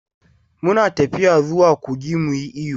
Mu na tafiya zuwa kogi mu yi iyo.